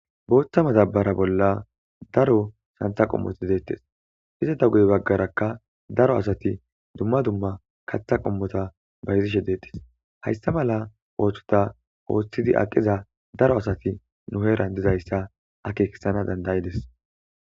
booththa matabara bolla daro santa qommoti deettes iza da guy baggarakka daro asati dumma dumma kaththa qommota bayzishe deettes hayssa mala ooththota ooththidi aqiza daro asati nuheeran dizayssa akekisana dandayides